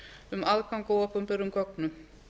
um aðgang að opinberum gögnum